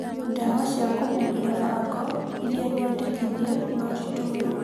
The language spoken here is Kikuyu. Dawa cia kũhuhĩra fango iria nyendekithie no citũmĩrwo